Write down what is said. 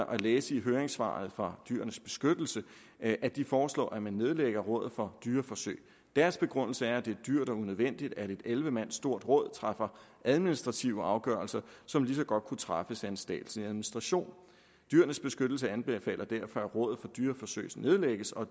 at læse i høringssvaret fra dyrenes beskyttelse at at de foreslår at man nedlægger rådet for dyreforsøg deres begrundelse er at det er dyrt og unødvendigt at et elleve mand stort råd træffer administrative afgørelser som lige så godt kunne træffes af en statslig administration dyrenes beskyttelse anbefaler derfor at rådet for dyreforsøg nedlægges og